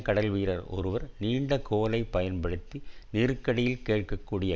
கடல்வீரர் ஒருவர் நீண்ட கோலை பயன்படுத்தி நீருக்கடியில் கேட்க கூடிய